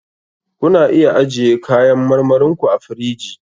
Ku na iya ajiye kayan marmarin ku a firiji.